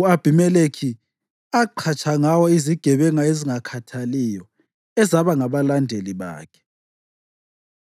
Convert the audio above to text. u-Abhimelekhi aqhatsha ngawo izigebenga ezingakhathaliyo, ezaba ngabalandeli bakhe.